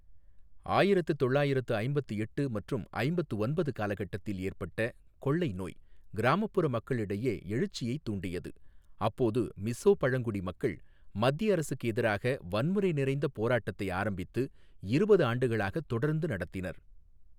ஆயிரத்து தொள்ளாயிரத்து ஐம்பத்து எட்டு மற்றும் ஐம்பத்து ஒன்பது காலகட்டத்தில் ஏற்பட்ட கொள்ளை நோய் கிராமப்புற மக்களிடையே எழுச்சியைத் தூண்டியது, அப்போது மிஸோ பழங்குடி மக்கள் மத்திய அரசுக்கு எதிராக வன்முறை நிறைந்த போராட்டத்தை ஆரம்பித்து இருபது ஆண்டுகளாக தொடர்ந்து நடத்தினர்.